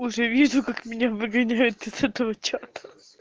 уже вижу как меня выгоняют из этого чата